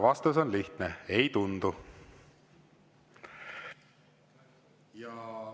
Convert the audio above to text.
Vastus on lihtne: ei tundu.